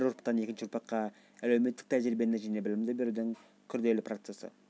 білім беру бір ұрпақтан екінші ұрпаққа əлеуметтік тəжірибені жəне білімді берудің күрделі процесі